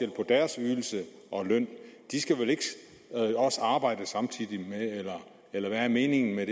deres ydelse og løn de skal vel ikke også arbejde samtidig eller hvad er meningen med